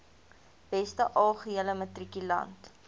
beste algehele matrikulant